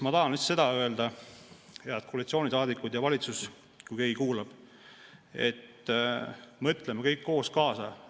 Ma tahan lihtsalt seda öelda, head koalitsioonisaadikud ja valitsus, kui keegi kuulab, et mõtleme kõik koos kaasa.